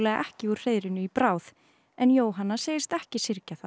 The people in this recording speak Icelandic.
ekki úr hreiðrinu í bráð en Jóhanna segist ekki syrgja það